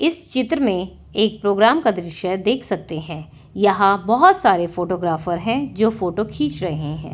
इस चित्र में एक प्रोग्राम का दृश्य देख सकते हैं यहां बहुत सारे फोटोग्राफर हैं जो फोटो खींच रहे हैं।